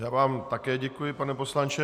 Já vám také děkuji, pane poslanče.